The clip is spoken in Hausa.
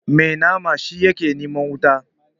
Mai nama shi ke neman wuta.